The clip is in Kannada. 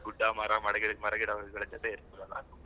ಗುಡ್ಡ ಮರ ಮರಗಿಡ ಮರಗಿಡಗಳು ಇವೆಲ್ಲ ಜೊತೆಗಿರ್ತಾವಲ ತುಂಬಾ,